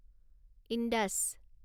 Indus